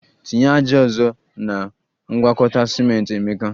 Tinye ájá ọzọ na ngwakọta ciment, emeka